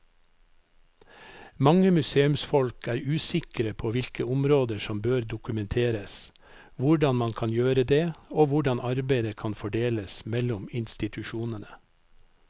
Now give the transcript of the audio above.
Mange museumsfolk er usikre på hvilke områder som bør dokumenteres, hvordan man kan gjøre det og hvordan arbeidet kan fordeles mellom institusjonene.